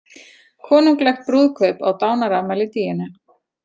Konunglegt brúðkaup á dánarafmæli Díönu